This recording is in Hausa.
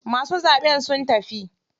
Masu zaɓen sun tafi.